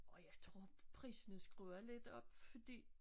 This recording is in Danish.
Og jeg tror prisen er skruet lidt op fordi